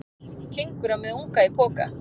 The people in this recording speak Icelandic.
Kengúra með unga í poka.